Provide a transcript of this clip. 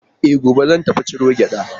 E, gobe zan tafi ciron gyaɗa.